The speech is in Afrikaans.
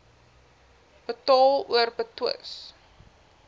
betaal or betwis